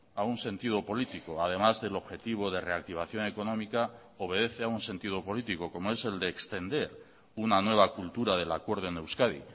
a un sentido político además del objetivo de reactivación económica obedece a un sentido político como es el de extender una nueva cultura del acuerdo en euskadi